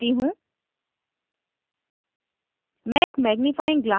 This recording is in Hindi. अब मैं सबमिट करती हूँ